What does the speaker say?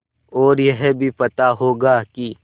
और यह भी पता होगा कि